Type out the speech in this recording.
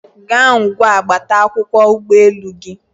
gaa ngwa gbata akwụkwọ ụgbọelu gị